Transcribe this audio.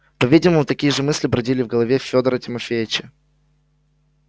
по-видимому такие же мысли бродили и в голове федора тимофеича